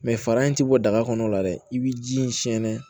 fara in ti bɔ daga kɔnɔ dɛ i bi ji in sɛnɛn